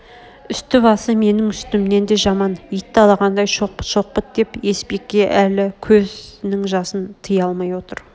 үсті-басы менің үстімнен де жаман ит талағандай шоқпыт-шоқпыт деп есбике әл көзнің жасын тыя алмай отыр